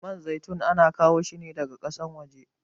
Man zaitun ana kawo shine daga kasan waje